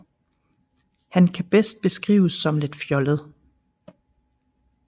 Han kan bedst beskrives som lidt fjollet